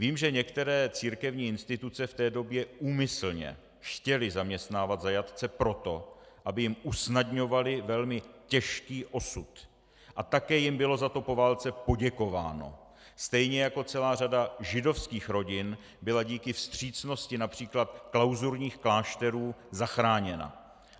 Vím, že některé církevní instituce v té době úmyslně chtěly zaměstnávat zajatce proto, aby jim usnadňovaly velmi těžký osud, a také jim bylo za to po válce poděkováno, stejně jako celá řada židovských rodin byla díky vstřícnosti například klauzurních klášterů zachráněna.